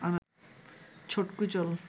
ছটকু চল